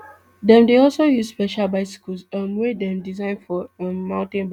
dem dey also use special bicycles um wey dem design for um mountain biking